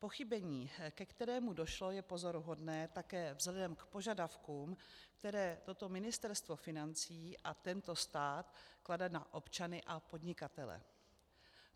Pochybení, ke kterému došlo, je pozoruhodné také vzhledem k požadavkům, které toto Ministerstvo financí a tento stát klade na občany a podnikatele.